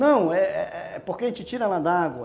Não, é é é porque a gente tira ela d'água.